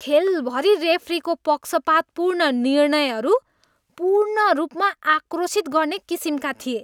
खेलभरि रेफ्रीको पक्षपातपूर्ण निर्णयहरू पूर्ण रूपमा आक्रोशित गर्ने किसिमका थिए।